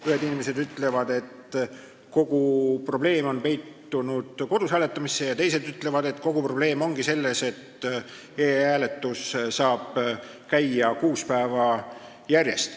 Ühed inimesed ütlevad, et kogu probleem on peitunud kodus hääletamisse, ja teised ütlevad, et kogu probleem ongi selles, et e-hääletus saab käia kuus päeva järjest.